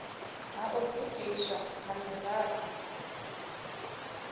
ha u gudiswa ha miraḓo